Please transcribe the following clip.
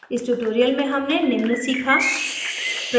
इस tutorial में हमने निम्न सीखा